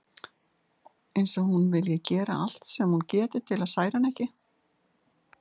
Eins og hún vilji gera allt sem hún geti til þess að særa hann ekki.